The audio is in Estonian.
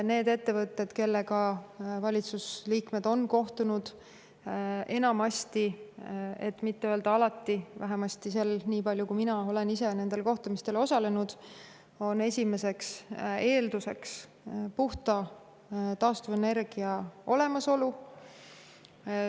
Nende ettevõtete esimeseks eelduseks, kellega valitsusliikmed on kohtunud – enamasti, et mitte öelda alati, vähemasti nii palju kui mina ise olen nendel kohtumistel osalenud –, on puhta taastuvenergia olemasolu.